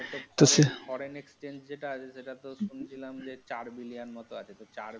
foreign exchange যেটা আছে সেটা তো শুনেছিলাম যে চার্ billion মতো আছে তো চার billion । কিসে।